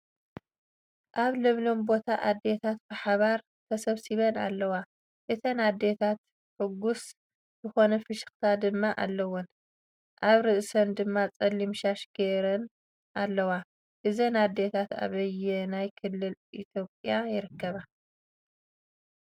ኣብ ለምለም ቦታ ኣዶታ ብሓባር ተሰብሲበን ኣለዋ እተን ኣዶታን ሕጎስ ዝኮነ ፍሽክታ ድማ አለወን ። ኣብርእሰን ድማ ፀሊም ሻሽ ገይራን ኣለዋ እዘን ኣዲታት ኣብይና ክልልት ኢትዮጵያ ይርከባ ?